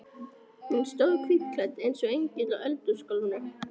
Hún stóð hvítklædd eins og engill á eldhúsgólfinu.